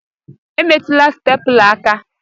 Emetụla stepula aka!